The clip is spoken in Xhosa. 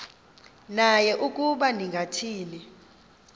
naye ukuba ningathini